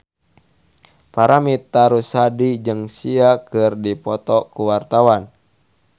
Paramitha Rusady jeung Sia keur dipoto ku wartawan